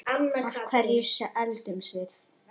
Af hverju eldumst við?